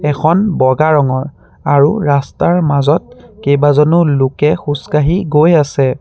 এখন বগা ৰঙৰ আৰু ৰাস্তাৰ মাজত কেইবাজনো লোকে খোজ কাঢ়ি গৈ আছে।